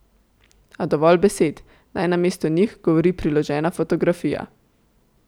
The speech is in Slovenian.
A dovolj besed, naj namesto njih govori priložena fotografija ...